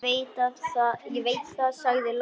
Ég veit það, sagði Lóa.